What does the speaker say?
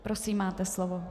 Prosím, máte slovo.